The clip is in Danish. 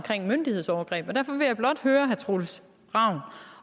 myndighedsovergreb derfor vil jeg blot høre herre troels ravn